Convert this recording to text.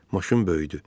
Maşın böyüdü.